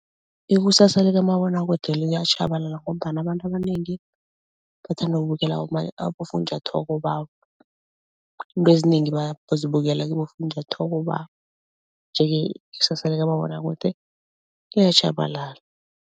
Ikusasa likamabonwakude liyatjhabalala ngombana abantu abanengi bathanda ukubukela abofunjathwako babo. Iinto ezinengi bazibukela kibofunjathwako babo, nje-ke ikusasa likamabonwakude liyatjhabalala.